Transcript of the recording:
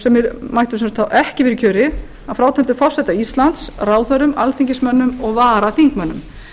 sem mættu þá til dæmis ekki vera í kjöri að frátöldum forseta íslands ráðherrum alþingismönnum og varaþingmönnum